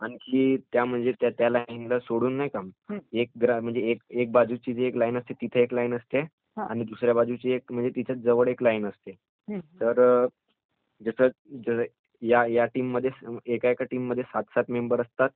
आणखी त्या लाईन ला सोडून एक बाजूची एक लाईन असते तिथं एक लाईन असते आणि दुसऱ्या बाजूची तिथं जवळ एक लाईन असते. तर ह्या टीम मध्ये एकेका टीम मध्ये सात सात मेंबर असतात.